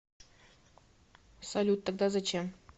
салют тогда зачем